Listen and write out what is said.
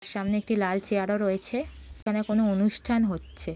সামনে একটি লাল চেয়ার ও রয়েছে এখানে কোনো অনুষ্ঠান হচ্ছে।